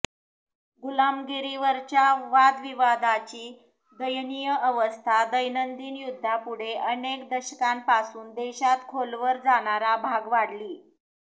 गुलामगिरीवरच्या वादविवादाची दयनीय अवस्था दैनंदिन युद्धापुढे अनेक दशकांपासून देशांत खोलवर जाणारा भाग वाढली